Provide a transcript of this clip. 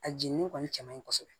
A jennin kɔni cɛ man ɲi kosɛbɛ